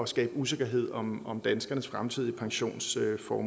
skabe usikkerhed om om danskernes fremtidige pensionsudbetalinger